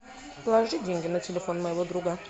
положи деньги на телефон моего друга